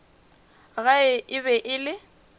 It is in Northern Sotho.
gae e be e le